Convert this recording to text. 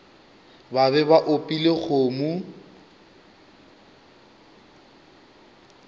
ba be ba opile kgomo